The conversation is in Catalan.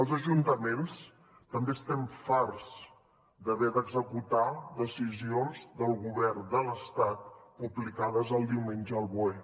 els ajuntaments també estem farts d’haver d’executar decisions del govern de l’estat publicades el diumenge al boe